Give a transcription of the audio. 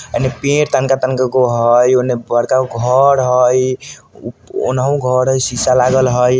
अइमे पेड़ तनका तनका गो हई उनहु बड़का घर हई शिशा लागल हई।